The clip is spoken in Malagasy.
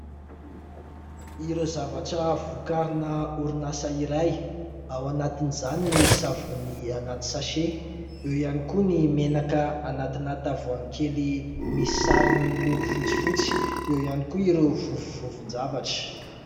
Ireo zavatra vokarina orinasa iray ao anatin'izany ny savony anaty "sachet", eo ihany koa ny menaka anaty tavoahangy kely misy sarony miloko fotsifotsy, eo ihany koa ireo vovovovon-javatra.